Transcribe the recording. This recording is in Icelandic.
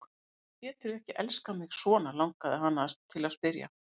Af hverju geturðu ekki elskað mig svona, langaði hana til að spyrja.